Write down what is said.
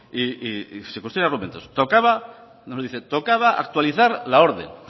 tocaba actualizar la orden